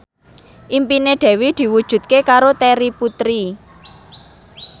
impine Dewi diwujudke karo Terry Putri